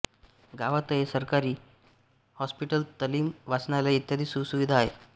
गावातये सरकारी हॉस्पिटल तालीम वाचनालय इत्यादी सुखसुविधा आहेत